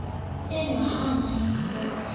engwe ho na le ho